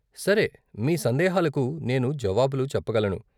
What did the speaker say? సరే, మీ సందేహాలకు నేను జావాబులు చెప్పగలను.